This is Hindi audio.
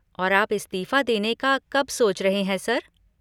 और आप इस्तीफा देने का कब सोच रहे हैं, सर?